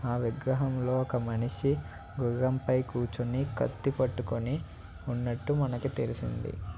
ఆ విగ్రహం లో ఒక మనిషి గుర్రం పై కూచొని కత్తి పట్టుకొని ఉన్నట్టు మనకి తెలిసింది.